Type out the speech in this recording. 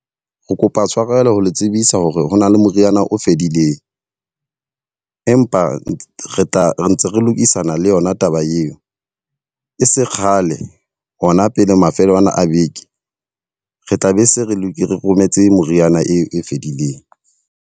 Re kopa tshwarelo ho le tsebisa hore hona le moriana o fedileng, empa retla, ntse re lokisana le yona taba eo. E se kgale hona pele mafelong ana a beke. Re tla be se re lokise re rometse moriana eo e fedileng.